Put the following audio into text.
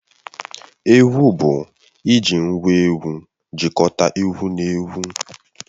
Egwu bụ iji ngwá egwu jikọta egwu na egwu